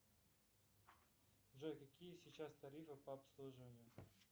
джой какие сейчас тарифы по обслуживанию